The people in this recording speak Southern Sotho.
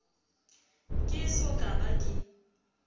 ke eso ka ba ke